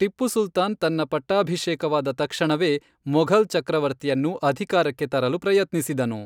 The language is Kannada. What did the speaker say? ಟಿಪ್ಪು ಸುಲ್ತಾನ್ ತನ್ನ ಪಟ್ಟಾಭಿಷೇಕವಾದ ತಕ್ಷಣವೇ ಮೊಘಲ್ ಚಕ್ರವರ್ತಿಯನ್ನು ಅಧಿಕಾರಕ್ಕೆ ತರಲು ಪ್ರಯತ್ನಿಸಿದನು.